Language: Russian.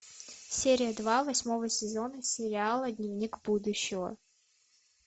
серия два восьмого сезона сериала дневник будущего